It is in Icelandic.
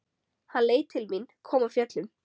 Hann leit til mín, kom af fjöllum.